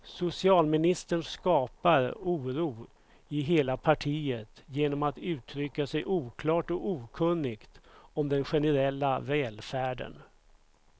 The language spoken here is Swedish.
Socialministern skapar oro i hela partiet genom att uttrycka sig oklart och okunnigt om den generella välfärden.